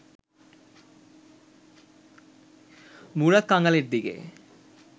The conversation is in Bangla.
মুরাদ কাঙালের দিকে